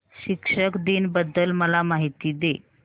शिक्षक दिन बद्दल मला माहिती दे